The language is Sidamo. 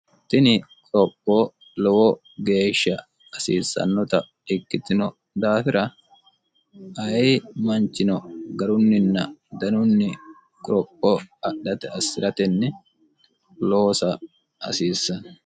tini qorophoo lowo geeshsha hasiissannota dhikkitino daafira ayi manchino garunninna danunni qorophoo adhate assi'ratenni loosa hasiissanno